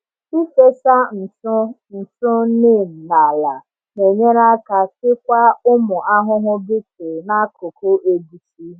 Ịfesa ntụ ntụ neem n’ala na-enyere aka chịkwaa ụmụ ahụhụ beetle n’akụkụ egusi.